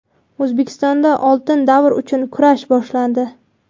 O‘zbekistonda oltin davr uchun "kurash" boshlandi.